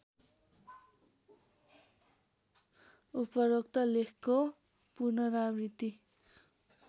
उपरोक्त लेखको पुनरावृत्ति